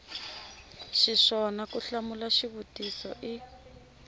xiswona ku hlamula xivutiso i